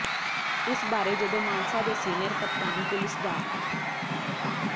ਇਸ ਬਾਰੇ ਜਦੋਂ ਮਾਨਸਾ ਦੇ ਸੀਨੀਅਰ ਕਪਤਾਨ ਪੁਲੀਸ ਡਾ